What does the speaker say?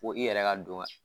Fo i yɛrɛ ka don ka